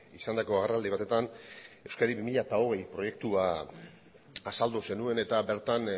izandako agerraldi batetan euskadi bi mila hogei proiektua azaldu zenuen eta bertan